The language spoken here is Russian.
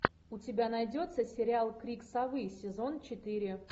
у тебя найдется сериал крик совы сезон четыре